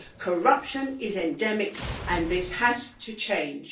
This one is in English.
Corruption is endemic and this has to change.